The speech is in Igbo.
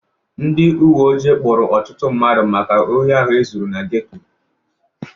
Ndị uwe ojii kpụụrụ ọtụtụ mmadụ maka ohi ahụ e zuru na geto.